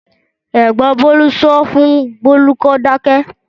Ẹ̀gbọ́n Bólú sọ fún Bólú pé kó dáké.